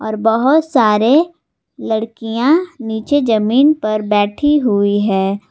और बहुत सारे लड़कियां नीचे जमीन पर बैठी हुई है।